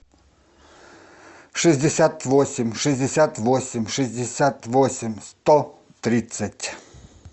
шестьдесят восемь шестьдесят восемь шестьдесят восемь сто тридцать